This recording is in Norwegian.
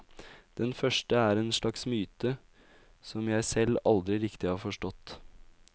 Den første er en slags myte, som jeg selv aldri riktig har forstått.